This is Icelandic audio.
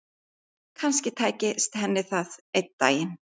Kannski tækist henni það einn daginn.